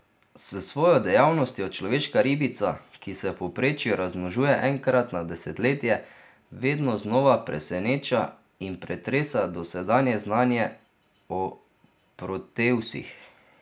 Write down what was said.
S svojo dejavnostjo človeška ribica, ki se v povprečju razmnožuje enkrat na desetletje, vedno znova preseneča in pretresa dosedanje znanje o proteusih.